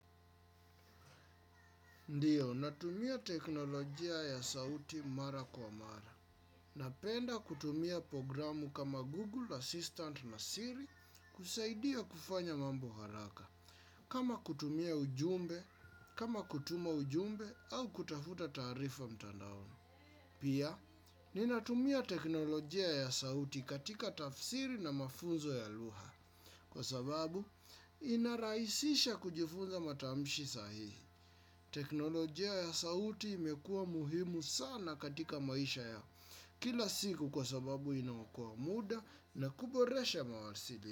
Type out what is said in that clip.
Ndiyo, natumia teknolojia ya sauti mara kwa mara. Napenda kutumia programu kama Google Assistant na Siri kusaidia kufanya mambo haraka. Kama kutumia ujumbe, kama kutuma ujumbe au kutafuta taarifa mtandaoni. Pia, ninatumia teknolojia ya sauti katika tafsiri na mafunzo ya lugha. Kwa sababu, inarahisisha kujifunza matamshi sahihi. Teknolojia ya sauti imekua muhimu sana katika maisha ya kila siku kwa sababu inaookoa muda na kuboresha mawasili.